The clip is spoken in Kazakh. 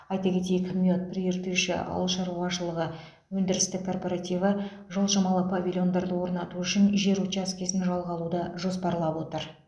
айта кетейік мед прииртышья ауыл шаруашылығы өндірістік корпоративі жылжымалы павильондарды орнату үшін жер учаскесін жалға алуды жоспарлап отыр